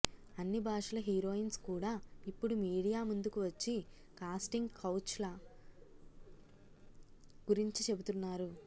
అన్ని భాషల హీరోయిన్స్ కూడా ఇప్పుడు మీడియా ముందుకు వచ్చి కాస్టింగ్ కౌచ్ల గురించి చెబుతున్నారు